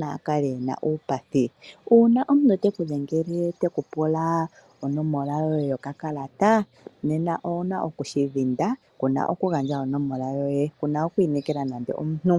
naya kale ye li uupathi. Uuna omuntu te ku dhengele te ku pula onomola yoye yokakala owu na okushi dhinda, oshoka ku na okugandja onomola yoye ngoye ku na oku inekela omuntu.